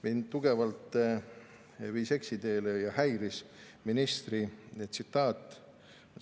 Mind viis tugevalt eksiteele ja häiris ministri tsitaat.